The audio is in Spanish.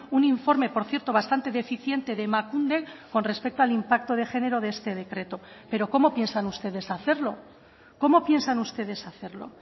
un informe por cierto bastante deficiente de emakunde con respecto al impacto de género de este decreto pero cómo piensan ustedes hacerlo cómo piensan ustedes hacerlo